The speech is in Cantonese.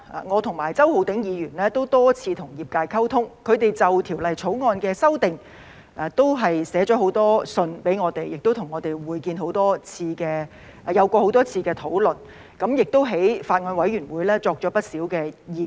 我和周浩鼎議員多次與業界溝通，他們就《條例草案》的修訂已多次向我們致函，並與我們多次會面和討論，並在法案委員會提出了不少意見。